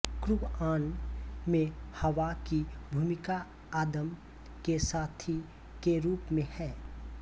क़ुरआन में हव्वा की भूमिका आदम के साथी के रूप में है